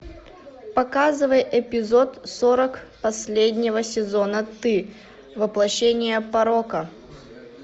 показывай эпизод сорок последнего сезона ты воплощение порока